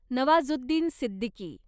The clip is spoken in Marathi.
नवाजुद्दीन सिद्दीकी